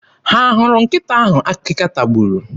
Ha hụrụ nkịta ahụ akịka tagburu?